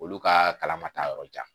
Olu kaa kalan ma taa yɔrɔ jan